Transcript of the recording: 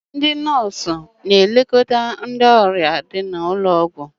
ndị nọọsụ na-elekọta ndị ọrịa n'ụlọ ọgwụ